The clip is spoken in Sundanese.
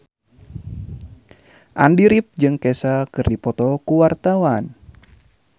Andy rif jeung Kesha keur dipoto ku wartawan